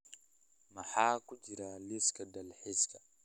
Maxaa ku jira liiska dalxiiska